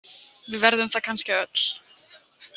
Við verðum það kannski öll.